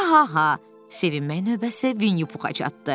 Haha, sevinmək növbəsi Winnie Puha çatdı.